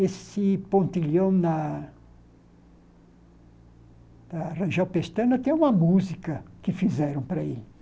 Esse pontilhão na Ranjel pestana tem uma música que fizeram para ele.